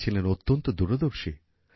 তিনি ছিলেন অত্যন্ত দূরদর্শী